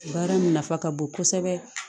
Baara nafa ka bon kosɛbɛ